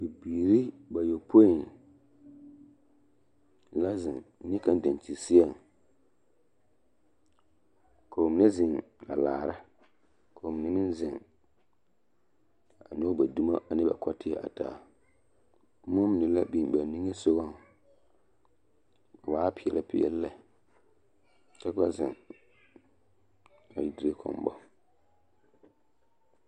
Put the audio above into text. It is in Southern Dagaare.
Bibiiri bayɔpoi la zeŋ neɛ kaŋ daŋkyinseɛŋ, k'o mine zeŋ a laara k'o mine meŋ zeŋ a nyɔge ba dumo ane ba kɔteɛ a taa, boma mine la biŋ ba niŋesogɔŋ a waa peɛle peɛle lɛ ka ba zeŋ a dire kɔmbɔ.